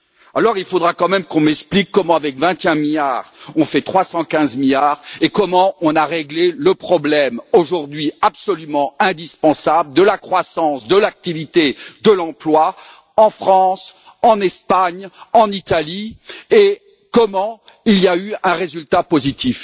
Alors, il faudra quand même qu'on m'explique comment, avec 21 milliards, on fait 315 milliards et comment on a réglé le problème, ce qui est aujourd'hui absolument indispensable, de la croissance de l'activité et de l'emploi en France, en Espagne, en Italie, mais aussi dans quelle mesure il y a eu un résultat positif?